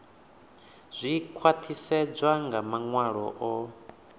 zwi khwaṱhisedzwa nga maṅwalo o